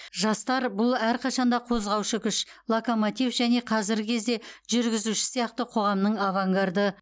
жастар бұл әрқашанда қозғаушы күш локомотив және қазіргі кезде жүргізуші сияқты қоғамның авангарды